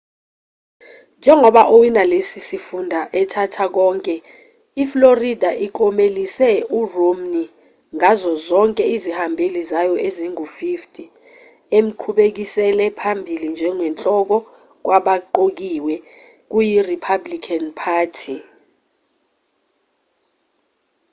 njengoba owina lesi sifunda ethatha konke iflorida inklomelise uromney ngazo zonke izihambeli zayo ezingu-50 emqhubekisele phambili njengenhloko kwabaqokiwe kuyi-republican party